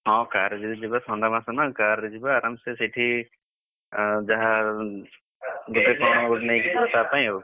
ହଁ car ରେ ଯଦି ଯିବା ଥଣ୍ଡା ମାସ ନା car ରେ ଯିବା ଆରାମ ସେ ସେଠି, ଆଉ ଯାହା, ଗୋଟେ କଣ ନେଇଯିବା ତା ପାଇଁ ଆଉ,